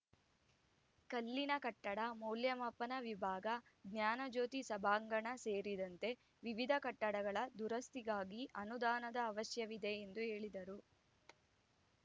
ಕಲ್ಲಿನ ಕಟ್ಟಡ ಮೌಲ್ಯಮಾಪನ ವಿಭಾಗ ಜ್ಞಾನಜ್ಯೋತಿ ಸಭಾಂಗಣ ಸೇರಿದಂತೆ ವಿವಿಧ ಕಟ್ಟಡಗಳ ದುರಸ್ತಿಗಾಗಿ ಅನುದಾನದ ಅವಶ್ಯವಿದೆ ಎಂದು ಹೇಳಿದರು